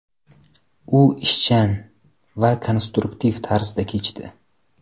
U ishchan va konstruktiv tarzda kechdi.